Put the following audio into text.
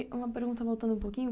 E uma pergunta voltando um pouquinho.